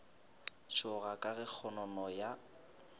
tšhoga ka ge kgonono ya